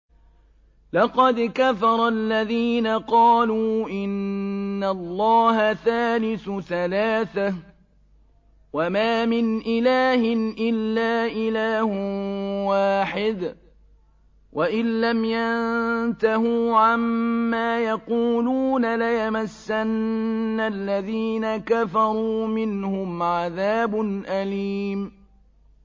لَّقَدْ كَفَرَ الَّذِينَ قَالُوا إِنَّ اللَّهَ ثَالِثُ ثَلَاثَةٍ ۘ وَمَا مِنْ إِلَٰهٍ إِلَّا إِلَٰهٌ وَاحِدٌ ۚ وَإِن لَّمْ يَنتَهُوا عَمَّا يَقُولُونَ لَيَمَسَّنَّ الَّذِينَ كَفَرُوا مِنْهُمْ عَذَابٌ أَلِيمٌ